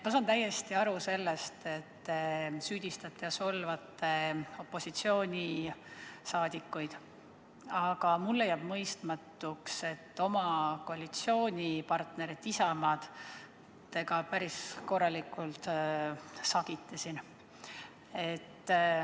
Ma saan täiesti aru sellest, et te süüdistate ja solvate opositsioonisaadikuid, aga mulle jääb mõistmatuks, et te ka oma koalitsioonipartnerit Isamaad siin päris korralikult sagite.